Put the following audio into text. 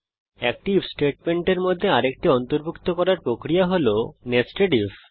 একটি আইএফ স্টেটমেন্টের মধ্যে আরেকটি অন্তর্ভুক্ত করার প্রক্রিয়া হল nested আইএফ